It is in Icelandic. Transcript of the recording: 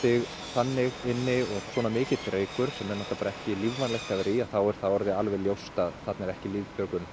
þannig inni og svona mikill reykur sem er ekki lífvænlegt að vera í þá er alveg ljóst að það er ekki lengur